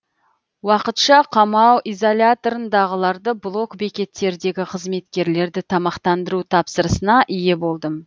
уақытша қамау изоляторындағыларды блок бекеттердегі қызметкерлерді тамақтандыру тапсырысына ие болдым